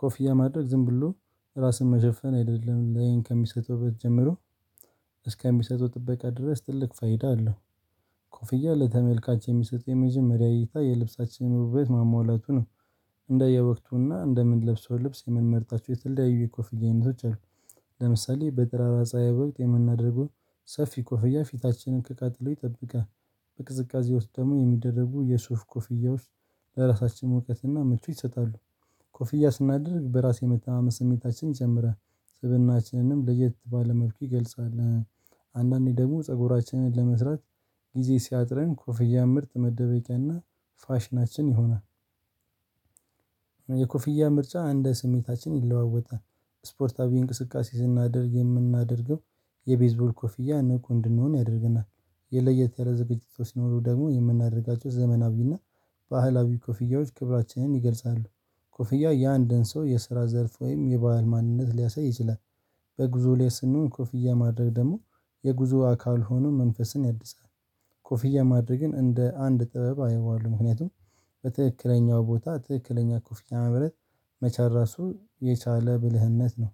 ኮፍያ ማድረግ ዝም ብሎ ራስን መሸፈን አይደለም ለአይን ከሚሰጠው ውበት ጀምሮ። እስከሚሰጡት ጥበቃ ድረስ ትልቅ ፋይዳ አለው። ኮፍያ ለተመልካች የሚሰጥ የመጀመሪያ እይታ የልብሳችንነ ውበት ማሟላቱ ነው። እንደየወቅቱና እንደምንለብሰው ልብስ የምንመርጣቸው የተለያዩ የኮፍያ አይነቶች አሉ። ለምሳሌ በጠራራ ፀሀይ ወቅት የምናደርገው ሰፊ ኮፍያ ፊታችንን ከቃጥሎ ይጠብቃል። በቅዝቃዜ ውስጥ ደግሞ የሚደረጉ የሱፍ ኮፍያወች ውስጥ ለራሳችን መውቀትና ምቾት ይሰጣሉ። ኮፍያ ስናደርግ በራስ የመተማመን ስሜታችን ይጨምራል። ስብእናችንንም ለየት ባለ መልኩ ይገልጻል። አንዳንዴ ደግሞ ፀጉራችንን ለመስራት ጊዜ ሲያጥረን ኮፍያ ምርጥ መደበቂያና ፋሽናችን ይሆናል። የኮፍያ ምርጫ እንደ ስሜታችን ይለዋወጣል። ስፖርታዊ እንቅስቃሴ ስናደርግ የምናደርገው የቤዝቦል ኮፍያ ንቁ እንድንሆን ያደርገናል። የለየት ያለ ዝግጅቶች ሲኖሩ ደግሞ የምናደርጋቸው ዘመናዊና ባህላዊ ኮፍያዎች ክብራችንን ይገልጻሉ። ኮፍያ የአንድን ሰው የስራ ዘርፍ ወይም የባህል ማንነት ሊያሳይ ይችላል። በጉዞ ላይ ስንሆን ኮፍያ ማድረግ ደግሞ የጉዞ አካል ሆኖ መንፈስን ያድሳል። ኮፍያ ማድረግን እንደ አንድ ጥበብ አየዋለሁ ምክንያቱም በትክክለኛው ቦታ ትክክለኛ ኮፍያ መምረጥ መቻል ራሱን የቻለ ብልህነት ነው።